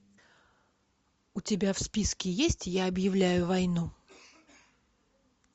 у тебя в списке есть я объявляю войну